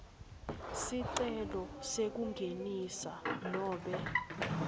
sicelo sekungenisa nobe